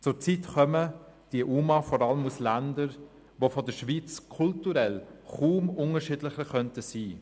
Zurzeit kommen die UMA vor allem aus Ländern, die kulturell kaum unterschiedlicher als die Schweiz sein könnten.